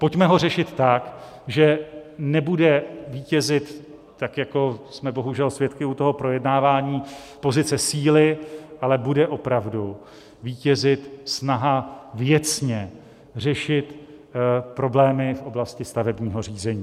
Pojďme ho řešit tak, že nebude vítězit, tak jako jsme bohužel svědky u toho projednávání, pozice síly, ale bude opravdu vítězit snaha věcně řešit problémy v oblasti stavebního řízení.